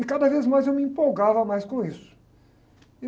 E cada vez mais eu me empolgava mais com isso.